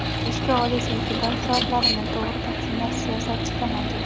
Ishga olish yoki dars soatlarini tog‘ri taqsimlash siyosatigacha mavjud.